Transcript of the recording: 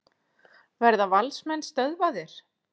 Verða Valsmenn stöðvaðir?